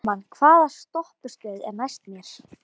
Kalman, hvaða stoppistöð er næst mér?